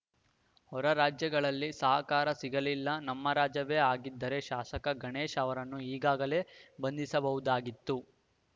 ಹೊರ ರಾಜ್ಯಗಳಲ್ಲಿ ಸಹಕಾರ ಸಿಗಲಿಲ್ಲ ನಮ್ಮ ರಾಜ್ಯವೇ ಆಗಿದ್ದರೆ ಶಾಸಕ ಗಣೇಶ್‌ ಅವರನ್ನು ಈಗಾಗಲೇ ಬಂಧಿಸಬಹುದಾಗಿತ್ತು